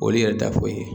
Ol'i yɛrɛ da foyi ye